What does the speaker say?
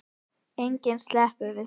Enginn sleppur við það.